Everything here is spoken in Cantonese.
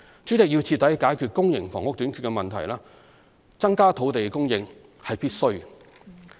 主席，要徹底解決公營房屋短缺的問題，增加土地供應是必需的。